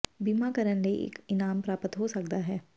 ਬੀਮਾ ਕਰਨ ਲਈ ਇੱਕ ਇਨਾਮ ਪ੍ਰਾਪਤ ਹੋ ਸਕਦਾ ਹੈ